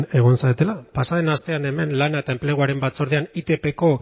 egon zaretela pasa den astean hemen lan eta enpleguaren batzordean itpko